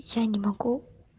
я не могу